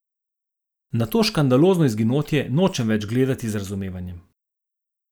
Na to škandalozno izginotje nočem več gledati z razumevanjem.